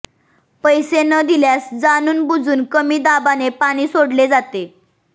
पैस न दिल्यास जाणूनबुजून कमी दाबाने पाणी सोडले जाते